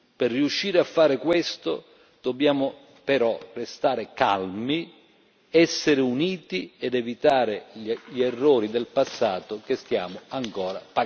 Per riuscire a fare questo, dobbiamo però restare calmi, essere uniti ed evitare gli errori del passato che stiamo ancora